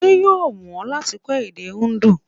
Ṣé yóò wù ọ́ láti kọ́ èdè Indu?